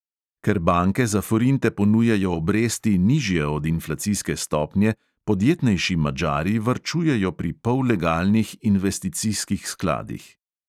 Ker banke za forinte ponujajo obresti, nižje od inflacijske stopnje, podjetnejši madžari varčujejo pri pollegalnih investicijskih skladih.